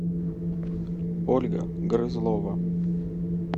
ольга грызлова